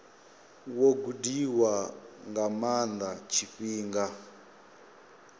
wo gudiwa nga maana tshifhinga